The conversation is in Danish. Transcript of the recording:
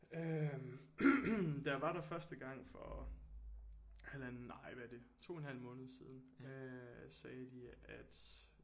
Øh da jeg var der første gang for halvandet nej hvad er det 2 en halv måned siden øh sagde de at